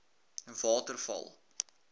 waterval